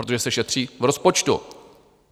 Protože se šetří v rozpočtu.